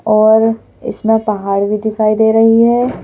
और इसमें पहाड़ भी दिखाई दे रही है।